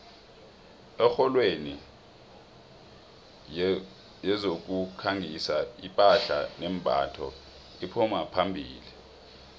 ekorweni yezokukhangisa iphahla nembatho iphuma phambili